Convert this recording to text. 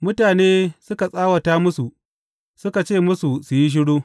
Mutane suka tsawata musu, suka ce musu su yi shiru.